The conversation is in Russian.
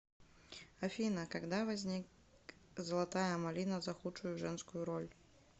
афина когда возник золотая малина за худшую женскую роль